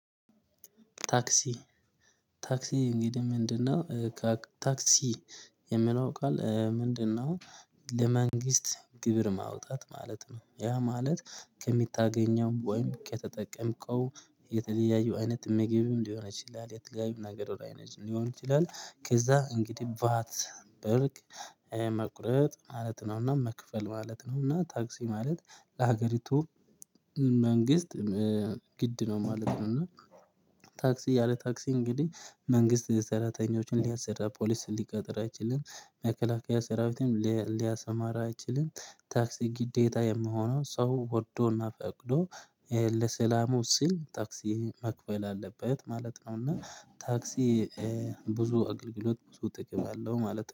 ታክሲ ታክሲ እንግዲህ ምንድነው ታክሲ የሚለው ቃል ምንድነው? ለመንግስት ግብር ማውጣት ማለት ነው ያ ማለት ከምታገኘው ወይም ከተጠቀምከው የተለያዩ አይነት ምግብም ሊሆን ይችላል የተለያዩ ነገር ሊሆን ይችላል ከዛ እንግዲህ ቫት በልግ መቁረጥ ማለት ነውና መክፈል ማለት ነውና ታክስ ማለት ለሀገሪቱ መንግስት ግድ ነው ማለት ነው። እና ታክስ ያለ ታክስ እንግዲህ መንግስት ሰራተኞችን ሊያሰራ ፖሊስ ሊቀጥር አይችልም። መከላከያ ሰራዊትን ሊያሰማራ አይችልም። ታክስ ግዴታ የሚሆነው ሰው ወዶና ፈቅዶ ሲል ታክስ መክፈል አለበት ማለት ነው። እና ታክስ ብዙ አገልግሎት ብዙ ጥቅም አለው ማለት